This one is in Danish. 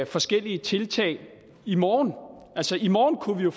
forskellige tiltag i morgen i morgen kunne vi jo